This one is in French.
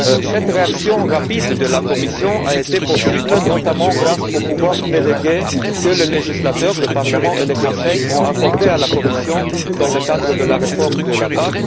Cette réaction rapide de la Commission a été possible notamment grâce aux pouvoirs délégués que le législateur le Parlement et le Conseil a accordés à la Commission dans le cadre de la réforme de la PAC.